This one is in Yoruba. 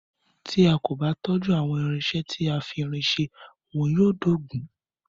Tí a kò bá tọ́jú àwọn irinṣẹ́ tí a fi irin ṣe, wọn yóò dóògùn.